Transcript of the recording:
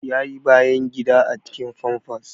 Ya yi bayan gida a cikin famfas